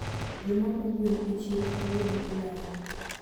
jomaomo gwen e chiro kawuono oleo